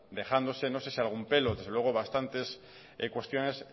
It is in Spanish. dejándose no sé si algún pelo desde luego bastantes cuestiones